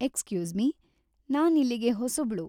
Excuse me, ನಾನಿಲ್ಲಿಗೆ ಹೊಸಬ್ಳು.